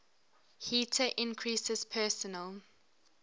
heater increases personal